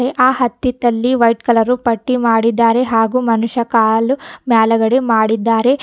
ಆ ಹತ್ತಿತಲ್ಲಿ white colour ಪಟ್ಟಿ ಮಾಡಿದಾರೆ ಹಾಗು ಮನುಷ ಕಾಲು ಮ್ಯಾಲಗಡೆ ಮಾಡಿದ್ದಾರೆ.